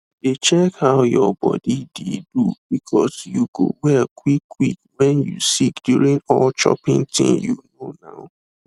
dey check how your body de do because you go well quick quick when you sick during all choping thing you know nau